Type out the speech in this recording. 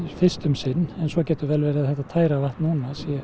fyrst um sinn en svo getur verið að þetta tæra vatn núna